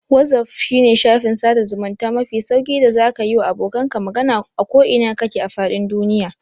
Wazaf shine shafin sada zamunta mafi sauƙi da zaka yiwa abokanka magana a ko ina kake a fadin duniya.